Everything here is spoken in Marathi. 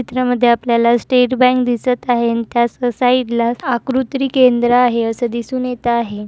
चित्रामध्ये आपल्याला स्टेट बँक दिसत आहे अन् त्या स-साइड ला आकृत्री केंद्र आहे असं दिसून येत आहे.